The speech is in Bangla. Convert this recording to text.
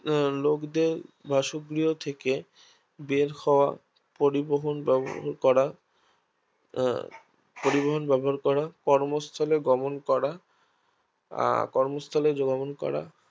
আহ লোকদের বাসগৃহ হতে বের হওয়া পরিবহন ব্যাবহার করা আহ কর্মস্থলে গমন করা আর কর্মস্থলে গমন করা